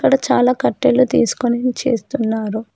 అక్కడ చాలా కట్టెలు తీసుకొని చేస్తున్నారు.